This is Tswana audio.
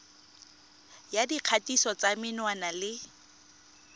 ya dikgatiso tsa menwana le